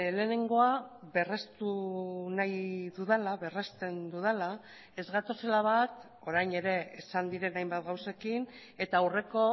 lehenengoa berrestu nahi dudala berresten dudala ez gatozela bat orain ere esan diren hainbat gauzekin eta aurreko